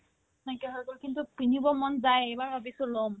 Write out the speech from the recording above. নাইকিয়া হৈ গ'ল কিন্তু কিনিব মন যায় এইবাৰ ভাবিছো ল'ম